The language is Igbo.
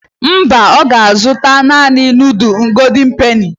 Mba, ọ ga-azụta naani nudul goldin peni.